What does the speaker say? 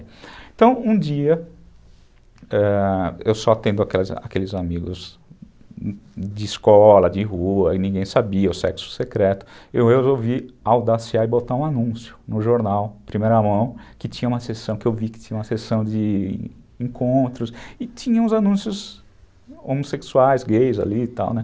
Então, um dia, ãh, eu só tendo aqueles amigos de escola, de rua, e ninguém sabia o sexo secreto, eu resolvi audaciar e botar um anúncio no jornal, primeira mão, que tinha uma sessão, que eu vi que tinha uma sessão de encontros, e tinha uns anúncios homossexuais, gays ali e tal, né?